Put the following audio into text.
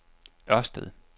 Ørsted